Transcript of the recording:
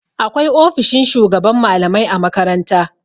Akwai ofishin shugaban malamai a makaranta.